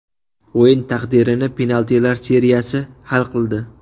O‘yin taqdirini penaltilar seriyasi hal qildi.